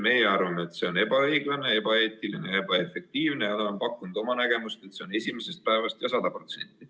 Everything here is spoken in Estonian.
Meie arvame, et see on ebaõiglane, ebaeetiline ja ebaefektiivne, ning oleme pakkunud oma nägemuse, et see peaks olema esimesest päevast 100%.